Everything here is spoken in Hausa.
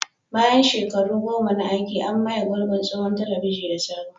Bayan shekaru goma na aiki, an maye gurbin tsohon telebijin da sabo.